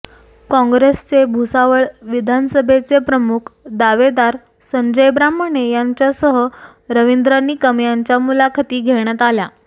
कॉंग्रेसचे भुसावळ विधानसभेचे प्रमुख दावेदार संजय ब्राह्मणे यांच्यासह रवींद्र निकम यांच्या मुलाखती घेण्यात आल्या